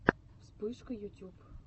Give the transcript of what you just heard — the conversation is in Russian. вспышка ютюб